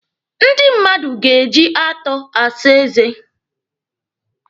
Ndị mmadụ ga-eji atọ asa eze.